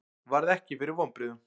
Varð ekki fyrir vonbrigðum